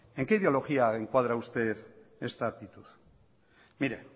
en qué ideología encuadra usted esta actitud